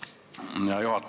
Hea juhataja!